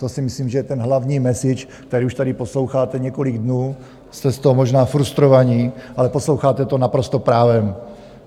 To si myslím, že je ten hlavní message, který už tady posloucháte několik dnů, jste z toho možná frustrovaní, ale posloucháte to naprosto právem.